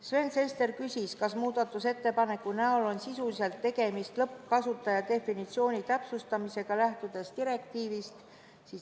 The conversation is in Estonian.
Sven Sester küsis, kas selle muudatusettepaneku näol on sisuliselt tegemist lõppkasutaja definitsiooni täpsustamisega, lähtudes direktiivist.